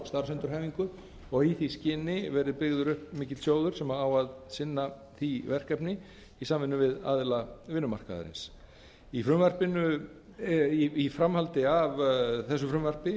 starfsendurhæfingu og í því skyni verið byggður upp mikill sjóður sem á að sinna því verkefni í samvinnu við aðila vinnumarkaðarins í framhaldi af þessu frumvarpi